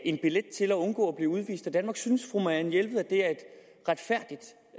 en billet til at undgå at blive udvist af danmark synes fru mariane jelved